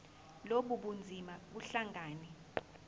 lobu bunzima buhlangane